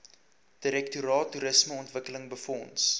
direktoraat toerismeontwikkeling befonds